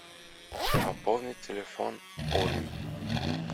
пополнить телефон оли